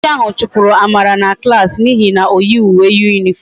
Onye nkuzi ahu chupuru amara na klas na ihe na oyighi uwe uniform ya